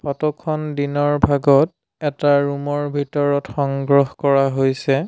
Photo খন দিনৰ ভাগত এটা ৰুম ৰ ভিতৰত সংগ্ৰহ কৰা হৈছে।